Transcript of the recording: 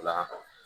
Nba